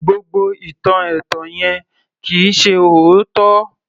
Gbogbo ìtàn ẹ̀tàn yẹn kì í ṣe òótọ́